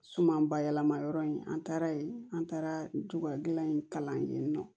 Suma ba yɛlɛmayɔrɔ in an taara yen an taara tubabula in kalan yen nɔ